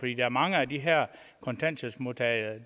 jo mange af de her kontanthjælpsmodtagere